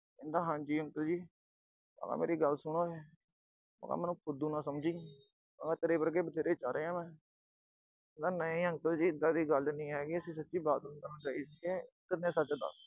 ਕਹਿੰਦਾ ਹਾਂ ਜੀ uncle ਜੀ, ਮੈਂ ਕਿਹਾ ਗੱਲ ਸੁਣ ਓਏ, ਮੈਂ ਕਿਹਾ ਮੈਨੂੰ ਫੁੱਦੂ ਨਾ ਸਮਝੀਂ। ਮੈਂ ਕਿਹਾ ਤੇਰੇ ਵਰਗੇ ਬਥੇਰੇ ਚਾੜ੍ਹੇ ਆ ਮੈਂ, ਕਹਿੰਦਾ ਨਹੀਂ uncle ਜੀ ਐਦਾਂ ਦੀ ਕੋਈ ਗੱਲ ਨੀਂ ਹੈਗੀ, ਅਸੀਂ ਸੱਚੀਂ ਬਾਥਰੂਮ ਕਰਨ ਗਏ ਸੀਗੇ।